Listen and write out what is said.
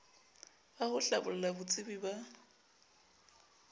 ba ho hlabolla botsebi ba